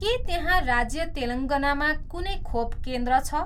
के त्यहाँ राज्य तेलङ्गानामा कुनै खोप केन्द्र छ